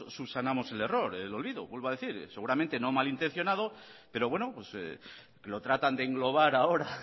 subsanamos el error el olvido vuelvo a decir seguramente no malintencionado pero bueno lo tratan de englobar ahora